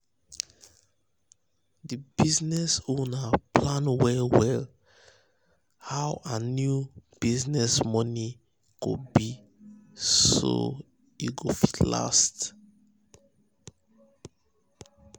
d business owner plan well well how her new new business money go be so e go fit last